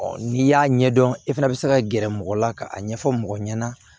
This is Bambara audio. n'i y'a ɲɛdɔn e fana bɛ se ka gɛrɛ mɔgɔ la ka a ɲɛfɔ mɔgɔ ɲɛna